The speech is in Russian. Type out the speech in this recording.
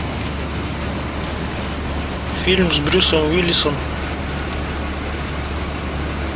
фильм с брюсом уиллисом